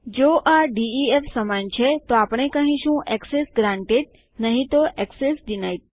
જો આ ડીઇએફ સમાન છે તો આપણે કહીશું એક્સેસ ગ્રાન્ટેડ નહિ તો એક્સેસ ડિનાઇડ